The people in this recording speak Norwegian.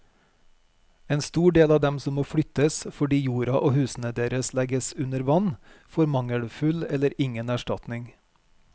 En stor del av dem som må flyttes fordi jorda og husene deres legges under vann, får mangelfull eller ingen erstatning.